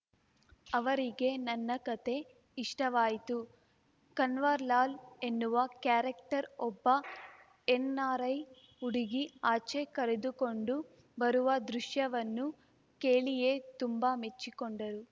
ಅವರಿಗೆ ನನ್ನ ಕತೆ ಇಷ್ಟವಾಯಿತು ಕನ್ವರ್‌ಲಾಲ್‌ ಎನ್ನುವ ಕ್ಯಾರೆಕ್ಟರ್ ಒಬ್ಬ ಎನ್‌ಆರ್‌ಐ ಹುಡುಗಿ ಆಚೆ ಕರೆದುಕೊಂಡು ಬರುವ ದೃಶ್ಯವನ್ನು ಕೇಳಿಯೇ ತುಂಬಾ ಮೆಚ್ಚಿಕೊಂಡರು